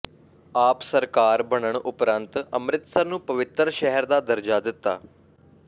ਆਪ ਸਰਕਾਰ ਬਣਨ ਉਪਰੰਤ ਅੰਮ੍ਰਿਤਸਰ ਨੂੰ ਪਵਿੱਤਰ ਸ਼ਹਿਰ ਦਾ ਦਰਜਾ ਦਿੱਤਾ